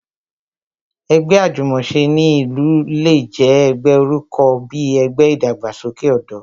Ẹgbẹ́ Àjùmòse ní ìlú le jẹ́ ẹgbẹ́ orúkọ bí ẹgbẹ́ ìdàgbàsókè ọ̀dọ́